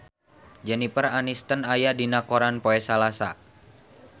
Jennifer Aniston aya dina koran poe Salasa